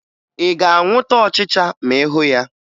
Ị ga-anwụta ọchịcha ma ị hụ ya?